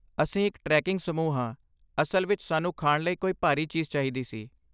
ਅਸੀਂ ਇੱਕ ਟ੍ਰੈਕਿੰਗ ਸਮੂਹ ਹਾਂ, ਅਸਲ ਵਿੱਚ ਸਾਨੂੰ ਖਾਣ ਲਈ ਕੋਈ ਭਾਰੀ ਚੀਜ਼ ਚਾਹੀਦੀ ਸੀ।